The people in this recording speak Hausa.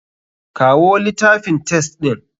Kawo litafin test ɗin.